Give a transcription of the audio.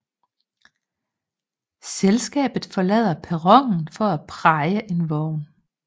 Selskabet forlader perronen for at praje en vogn